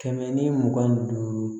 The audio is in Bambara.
Kɛmɛ ni mugan ni duuru